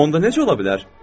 Onda necə ola bilər?